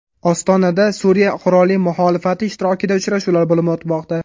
Ostonada Suriya qurolli muxolifati ishtirokida uchrashuvlar bo‘lib o‘tmoqda.